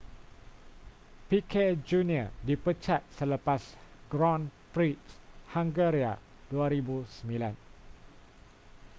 piquet jr dipecat selepas grand prix hungaria 2009